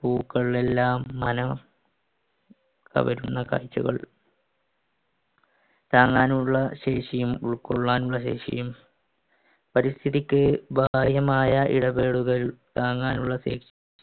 പൂക്കൾ എല്ലാം മനോ കവരുന്ന കാഴ്ചകൾ താങ്ങാനുള്ള ശേഷിയും ഉൾക്കൊള്ളാനുള്ള ശേഷിയും പരിസ്ഥിതിക്ക് താങ്ങാനുള്ള